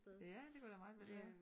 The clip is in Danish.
Ja det kunne da meget vel være